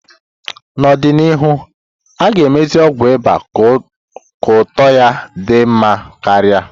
N'ọdịnihu, a ga-emezi ọgwụ ịba ka ụtọ ya di nma karia.